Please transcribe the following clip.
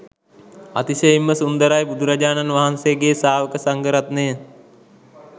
අතිශයින්ම සුන්දරයි බුදුරජාණන් වහන්සේගේ ශ්‍රාවක සංඝරත්නය